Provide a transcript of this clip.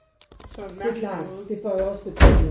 Det er klart det får jo også betydning